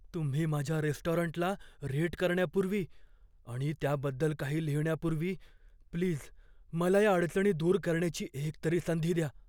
तुम्ही माझ्या रेस्टॉरंटला रेट करण्यापूर्वी आणि त्याबद्दल काही लिहिण्यापूर्वी प्लीज मला या अडचणी दूर करण्याची एक तरी संधी द्या.